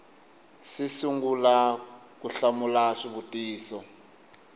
si sungula ku hlamula swivutiso